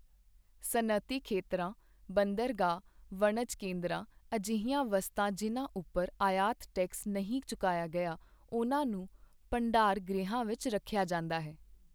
ਸਨਅਤੀ ਖੇਤਰਾਂ ਬੰਦਰਗਾਹ ਵਣਜ ਕੇਂਦਰਾਂ ਅਜਿਹੀਆਂ ਵਸਤਾਂ ਜਿਨ੍ਹਾਂ ਉੱਪਰ ਆਯਾਤ ਟੈਕਸ ਨਹੀਂ ਚੁਕਾਇਆ ਗਿਆ ਉਨ੍ਹਾਂ ਨੂੰ ਭੰਡਾਰ ਗ੍ਰਹਿਆਂ ਵਿੱਚ ਰੱਖਿਆ ਜਾਂਦਾ ਹੈ।